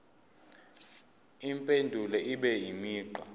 impendulo ibe imigqa